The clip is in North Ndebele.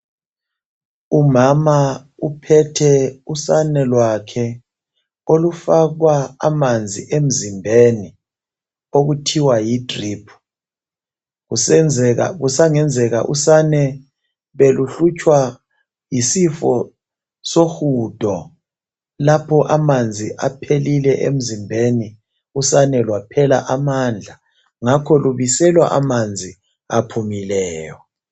Umama uphethe usane lwakhe olufakwa amanzi emzimbeni okuthiwa yi drip , kusenzeka ,kusangenzeka usane beluhlutshwa yisifo sohudo lapho amanzi aphelile emzimbeni usane lwaphela amandla, ngakho lubiselwa amanzi aphumileyo.